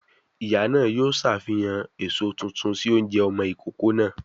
Ìyá náà yóò ṣàfihàn èso tuntun sí oúnjẹ ọmọ ìkókó náà